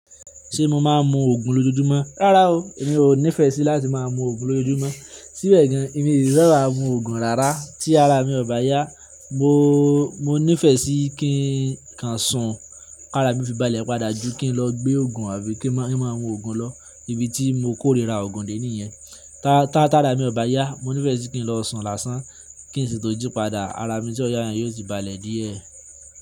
Ṣé mo máa ń mu oògùn lójoojúmọ́? Rárá o, èmi ò nífẹ̀ẹ́ sí láti máa mu oògùn lójoojúmọ́. Síbẹ̀ gan, èmi ì fẹ́ ra mu oògùn rárá tí ara mi ọ̀ bá yá. Mo, mo nífẹ̀ẹ́ sí kí n kàn ṣun ká ara mí fi bàlẹ̀ padà ju kí n lọ gbé oògùn àbí kí n máa ni maa mu oògùn lọ, ibi tí mo kórira oògùn dé nìyẹn. Ta ta ta ara èmi ọ̀ bá yá, mo ní fẹ́ si kí n lọ ṣun làsán, kí n ṣì tún jí padà, ara mi tí ọ yá yẹn yóò sì bàlẹ̀ díẹ̀.